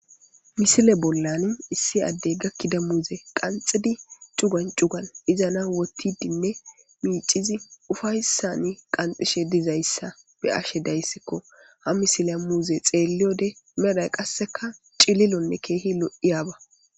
misile bollanin issi addey gakkida muuze qanxidi cugan cugan izana wottidinne miicizi ufaysan qanxishe dizayssa be ashe dayssikko ha misile muuze xeelliyode meday qasseka cililonne keehi lo7iyaba